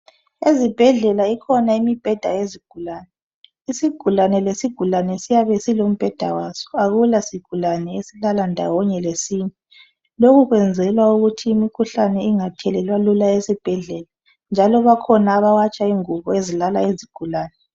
Ezibhedlela ikhona imibheda yezigulane. Isigulane lesigulane siyabe silombheda waso. Akula sigulane esilala ndawonye lesinye. Lokhu kwenzelwa ukuthi imikhuhlane ingathelelwa lula esibhedlela njalo bakhona abawatsha ingubo ezilala izigulane.